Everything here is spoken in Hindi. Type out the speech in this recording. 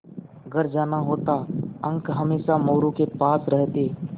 घर जाना होता अंक हमेशा मोरू के पास रहते